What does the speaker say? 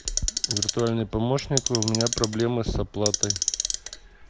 виртуальный помощник у меня проблемы с оплатой